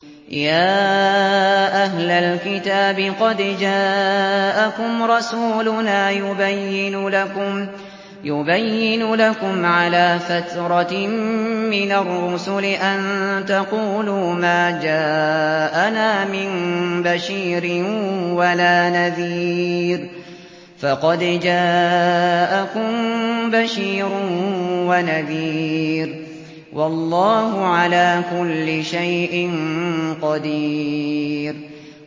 يَا أَهْلَ الْكِتَابِ قَدْ جَاءَكُمْ رَسُولُنَا يُبَيِّنُ لَكُمْ عَلَىٰ فَتْرَةٍ مِّنَ الرُّسُلِ أَن تَقُولُوا مَا جَاءَنَا مِن بَشِيرٍ وَلَا نَذِيرٍ ۖ فَقَدْ جَاءَكُم بَشِيرٌ وَنَذِيرٌ ۗ وَاللَّهُ عَلَىٰ كُلِّ شَيْءٍ قَدِيرٌ